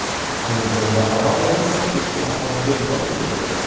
Andijonda avariyadan so‘ng ikki avtomobil yonib ketdi .